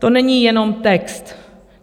To není jenom text.